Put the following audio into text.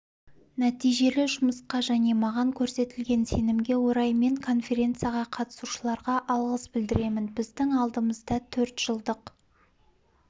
нәтижелі жұмысқа және маған көрсетілген сенімге орай мен конференцияға қатысушыларға алғыс білдіремін біздің алдымызда төрт жылдық